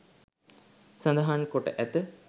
සඳහන් කොට ඇත.